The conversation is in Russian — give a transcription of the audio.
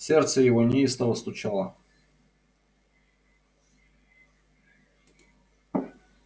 сердце его неистово стучало